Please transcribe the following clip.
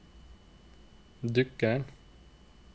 dukker